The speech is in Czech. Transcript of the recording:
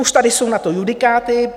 Už tady jsou na to judikáty.